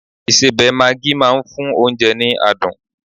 isebẹ maagi ma n fún onje ni adun